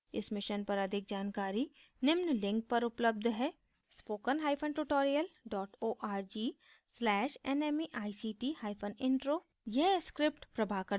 इस mission पर अधिक जानकारी निम्न लिंक पर उपलब्ध है